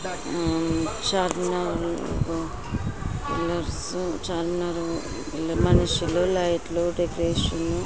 ఆ పిల్లర్స్ చార్మినార్ మనుషులు లైట్లు దేకేషను --